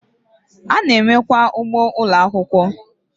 Ana enwe kwa ugboo Ụlọ akwụkwọ